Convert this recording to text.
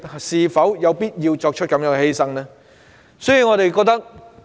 是否有必要作出這樣的犧牲？